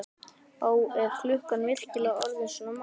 Ó, er klukkan virkilega orðin svona margt?